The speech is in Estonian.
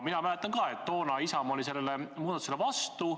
Mina mäletan ka seda, et toona oli Isamaa sellele muudatusele vastu.